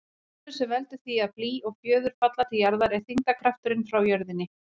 Krafturinn sem veldur því að blý og fjöður falla til jarðar er þyngdarkrafturinn frá jörðinni.